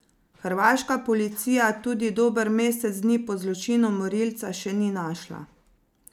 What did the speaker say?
Hrvaška policija tudi dober mesec dni po zločinu morilca še ni našla.